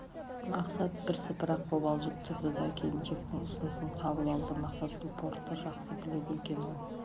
мақсат бірсыпыра қобалжып тұрды да келіншектің ұсынысын қабыл алды мақсат бұл портты жақсы біледі екен ол